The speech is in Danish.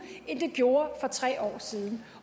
end det gjorde for tre år siden